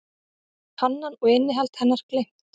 Kannan og innihald hennar gleymt.